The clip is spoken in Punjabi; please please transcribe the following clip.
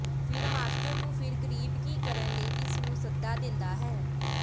ਫਿਰ ਮਾਸਟਰ ਨੂੰ ਫਿਰ ਗਰੀਬ ਕੀ ਕਰਨ ਲਈ ਇਸ ਨੂੰ ਸੱਦਾ ਦਿੰਦਾ ਹੈ